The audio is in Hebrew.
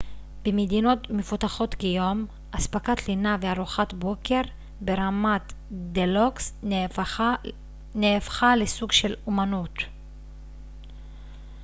במדינות מפותחות כיום אספקת לינה וארוחת בוקר ברמת דלוקס נהפכה לסוג של אמנות